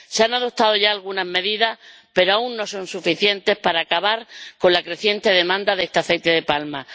Se han adoptado ya algunas medidas, pero aún no son suficientes para acabar con la creciente demanda de este aceite de palma.